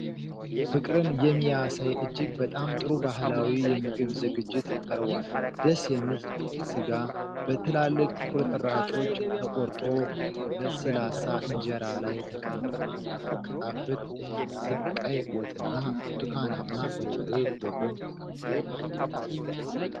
ፍቅርን የሚያሳይ እጅግ በጣም ጥሩ ባህላዊ የምግብ ዝግጅት ቀርቧል። ደስ የሚል ቀይ ስጋ በትላልቅ ቁርጥራጮች ተቆርጦ ለስላሳ እንጀራ ላይ ተቀምጧል። በጣም የሚጣፍጥ የሚመስል ቀይ ወጥና ብርቱካናማ በርበሬ በጎን ተቀምጠዋል።